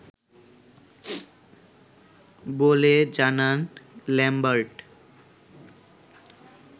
বলে জানান ল্যামবার্ট